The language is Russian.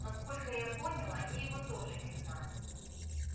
насколько я понял они его тоже не знают